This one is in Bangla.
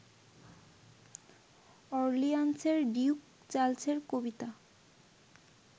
অর্লিয়ান্সের ডিউক চার্লসের কবিতা